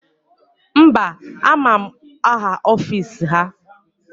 Mba, ama m aha ọfisi ha